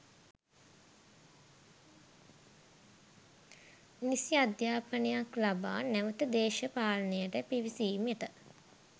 නිසි අධ්‍යාපනයක් ලබා නැවත දේශපාලනයට පිවිසීමට